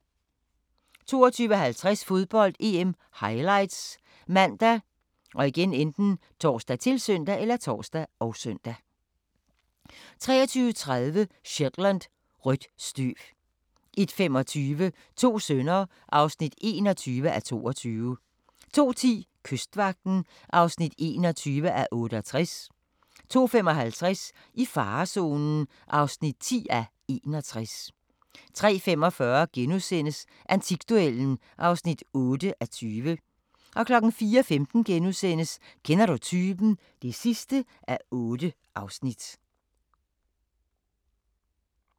22:50: Fodbold: EM - highlights ( man, tor, -søn) 23:30: Shetland: Rødt støv 01:25: To sønner (21:22) 02:10: Kystvagten (21:68) 02:55: I farezonen (10:61) 03:45: Antikduellen (8:20)* 04:15: Kender du typen? (8:8)*